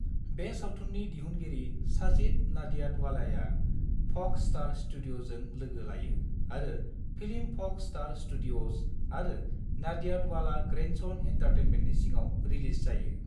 बे सावथुननि दिहुनगिरि साजिद नाडियाडवालाया फ'क्स स्टार स्टूडिअ'जों लोगो लायो आरो फिल्म फ'क्स स्टार स्टूडिअ'ज आरो नाडियाडवाला ग्रैंडसन एन्टारटेनमेन्टनि सिङाव रिलीज जायो।